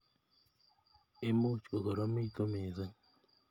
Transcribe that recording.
Imuch kokoromitu missing.